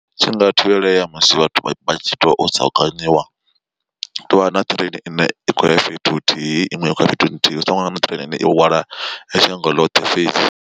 Tshi nga thivhelea musi vhathu vhatshi to saukanyiwa tovha na train ine i khoya fhethu huthihi iṅwe i khoya fhethu nthihi hu songo vha na train ine i hwala shango ḽoṱhe fhedzi.